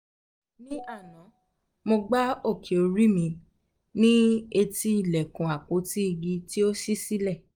ní àná mo gbá òkè orí mi um ní etí ilẹ̀kùn àpótí igi tí ó ṣí sílẹ̀